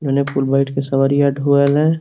ओने कुल बइठ के सवरिया ढोवेले।